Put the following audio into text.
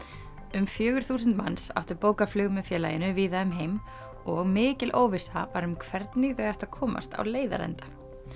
um fjögur þúsund manns áttu bókað flug með félaginu víða um heim og mikil óvissa var um hvernig þau ættu að komast á leiðarenda